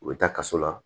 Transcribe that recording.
U bɛ taa kaso la